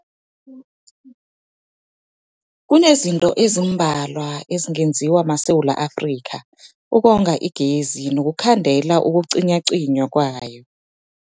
Kunezinto ezimbalwa ezingenziwa maSewula Afrika ukonga igezi nokukhandela ukucinywacinywa kwayo.